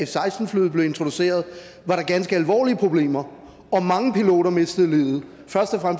seksten flyet blev introduceret var der ganske alvorlige problemer og mange piloter mistede livet først og